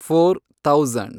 four thousand